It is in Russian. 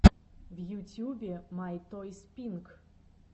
в ютьюбе май тойс пинк